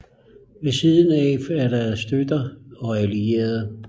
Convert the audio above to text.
Ved siden af er deres støtter og allierede